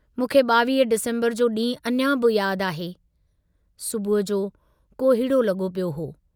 मूंखे 22 डिसम्बर जो डींहुं अञां बि याद आहे, सुबुह जो कोहीड़ो लगो पियो हो।